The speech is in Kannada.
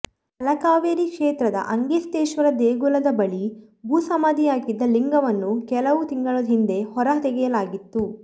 ತಲಕಾವೇರಿ ಕ್ಷೇತ್ರದ ಅಗಸ್ತೇಶ್ವರ ದೇಗುಲದ ಬಳಿ ಭೂಸಮಾಧಿಯಾಗಿದ್ದ ಲಿಂಗವನ್ನು ಕೆಲವು ತಿಂಗಳ ಹಿಂದೆ ಹೊರ ತೆಗೆಯಲಾಗಿತ್ತು